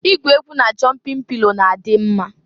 Igwu egwu na jọmpịn pilo na-adị m mma.